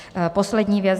Poslední věc.